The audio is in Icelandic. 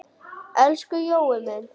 Elsku Jói minn.